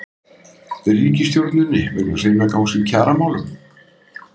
Ríkisstjórninni vegna seinagangs í kjaramálum?